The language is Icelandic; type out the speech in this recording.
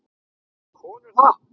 Vilja konur það?